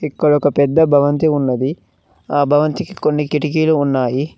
ఇక్కడ ఒక పెద్ద భవంతి ఉన్నది ఆ భవంతికి కొన్ని కిటికీలు ఉన్నాయి.